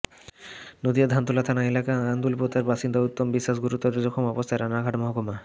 নদিয়ার ধানতলা থানা এলাকার আন্দুলপোতার বাসিন্দা উত্তম বিশ্বাস গুরুতর জখম অবস্থায় রানাঘাট মহকুমা